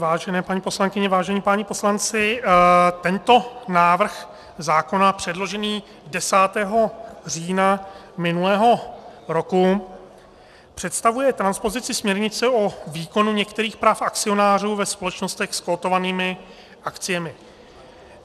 Vážené paní poslankyně, vážení páni poslanci, tento návrh zákona, předložený 10. října minulého roku, představuje transpozici směrnice o výkonu některých práv akcionářů ve společnostech s kotovanými akciemi.